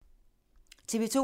TV 2